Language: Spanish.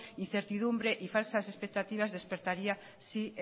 incertidumbre y falsas expectativas despertaría si